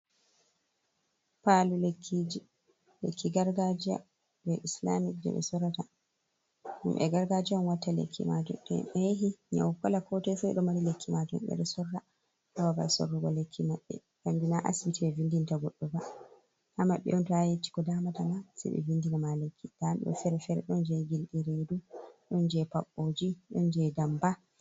Palu lekki ji, lekki gargajiya je islamu je ɓe sorata. Himɓe gargajiya on watta lekki majum. To himɓe yahi nyau kala kotoi ɓeɗo mari lekki majum ɓeɗo sora ha babal sorugo lekki maɓɓe. Kanjum na asibiti ɓe vindinta goɗɗo ba. Ha maɓɓe on to a yahi a yecca ɓe ko damata ma sei ɓe vindinama lekki. Nda ɗum fere-fere ɗon je gilɗi redu, ɗon je paɓɓoje, ɗon je ndamba.